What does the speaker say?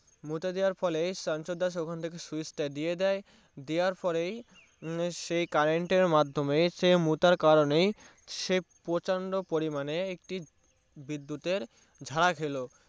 মুতে দেয়ার ফলে ৰাছৰ দাস ছাহকের ওখান থেকে Switch তা দিয়ে দিয়ে দেয়ার পরেই মম সেই Current এর মাদ্ধমে সে মূতার কারণেই স পছন্দ পরিমানে একটি বিদ্যুতের ছেকা খেলো